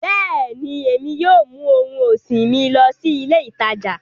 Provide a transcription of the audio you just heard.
Bẹ́ẹ̀ni, Emi yóò mu ohun ọsin mi lọ si ile itaja